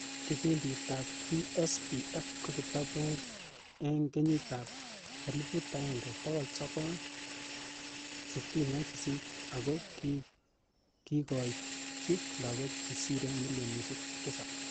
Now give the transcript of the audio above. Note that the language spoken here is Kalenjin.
Kipindit ap BSBF ko kitatu ing kenyi ap 1968 ako kikoitchi lagok che sire millionishek tisap.